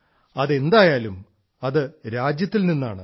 അതെന്തായാലും അത് രാജ്യത്തിൽ നിന്നാണ്